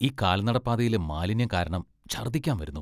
ഈ കാൽനടപ്പാതയിലെ മാലിന്യം കാരണം ഛർദ്ദിക്കാൻ വരുന്നു.